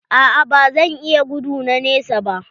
A'a ba zan iya gudu na nesa ba.